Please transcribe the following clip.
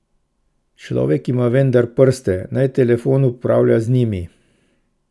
Človek ima vendar prste, naj telefon upravlja z njimi!